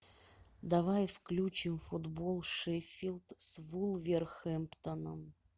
давай включим футбол шеффилд с вулверхэмптоном